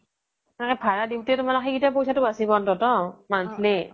ভাৰা দিওতে সেইকেইতা পোইচাতো বচিব অন্তত monthly